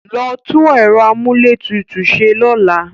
Lọ tú ẹ̀rọ amúlétutù ṣe lọ́la!